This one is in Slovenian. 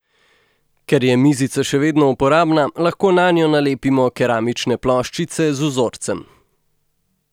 Ker je mizica še vedno uporabna, lahko nanjo nalepimo keramične ploščice z vzorcem.